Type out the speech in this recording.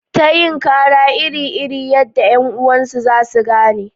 Ta yin kara iri iri yadda ƴan uwansu za su gane